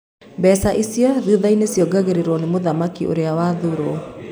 Mbeca icio thuthaini ciongeragwo ni mũthamaki ũrĩa wathuro.